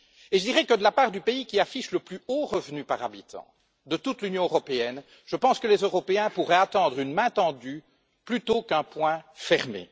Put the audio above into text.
Je dirai que de la part du pays qui affiche le plus haut revenu par habitant de toute l'Union européenne, je pense que les Européens pourraient attendre une main tendue plutôt qu'un poing fermé.